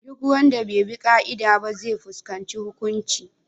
Duk wanda bai bi ƙa’ida ba zai fuskanci hukunci.